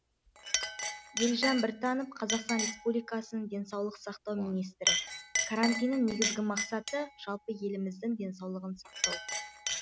елжан біртанов қазақстан республикасын денсаулық сақтау министрі карантиннің негізгі мақсаты жалпы еліміздің денсаулығын сақтау